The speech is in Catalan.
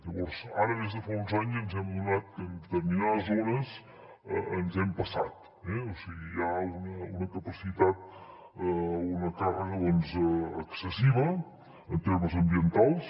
llavors ara des de fa uns anys ens hem adonat que en determinades zones ens hem passat eh o sigui hi ha una càrrega excessiva en termes ambientals